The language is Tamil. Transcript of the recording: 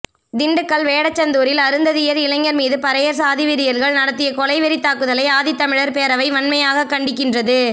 திண்டுக்கல் வேடசந்தூரில் அருந்ததியர் இளைஞர் மீது பறையர் சாதிவெறியர்கள் நடத்திய கொலை வெறித்தாக்குதலை ஆதித்தமிழர் பேரவை வன்மையாகக் கண்டிக்கின்றது